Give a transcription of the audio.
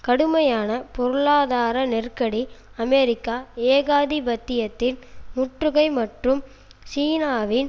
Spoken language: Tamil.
கடுமையான பொருளாதார நெருக்கடி அமெரிக்க ஏகாதிபத்தியத்தின் முற்றுகை மற்றும் சீனாவின்